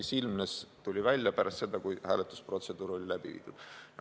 See tuli välja pärast seda, kui hääletusprotseduur oli läbi viidud.